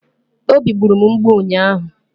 Obi gburu m mgbu ụnyaahụ